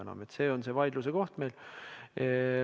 See on meil see vaidluse koht.